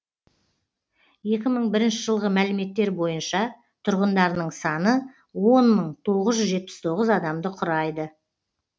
екі мың бірінші жылғы мәліметтер бойынша тұрғындарының саны он мың тоғыз жүз жетпіс тоғыз адамды құрайды